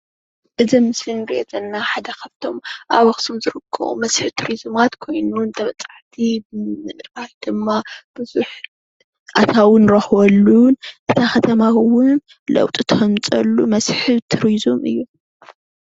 እዚ ምስሊ እንሪኦ ዘለና ሓደ ካብቶም ኣብ ኣክሱም ዝርከቡ መስሕብ ቱሪዚማ ኮይኑ ተበፃሕቲ ብምጉብናይ ድማ ኣተዊ እንረክበሉ ነታ ከተማ እውን ለውጢ ከምፅእ መስሕብ ቱሪዝም እዩ፡፡